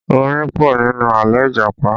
Orin pọ̀ nínú àlọ́ Ìjàpá